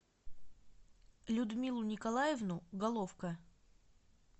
людмилу николаевну головко